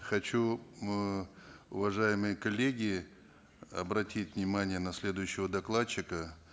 хочу э уважаемые коллеги обратить внимание на следующего докладчика